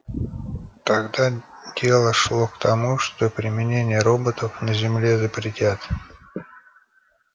тогда дело шло к тому что применение роботов на земле запретят